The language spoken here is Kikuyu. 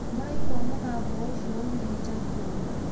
Mũraigua mũgambo ũcio uumĩte kũ?